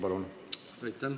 Palun!